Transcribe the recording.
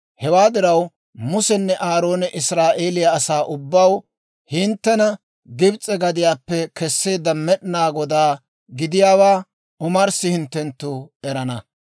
Hewaa diraw, Musenne Aaroone Israa'eeliyaa asaa ubbaw, «Hinttena Gibs'e gadiyaappe keseedda Med'inaa Godaa gidiyaawaa omarssi hinttenttu erana;